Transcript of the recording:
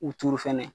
U turu fɛnɛ